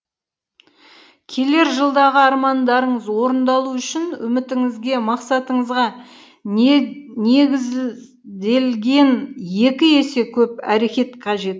келер жылдағы армандарыңыз орындалу үшін үмітіңізге мақсатыңызға не негізделген екі есе көп әрекет қажет